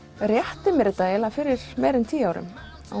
rétti mér þetta fyrir meira en tíu árum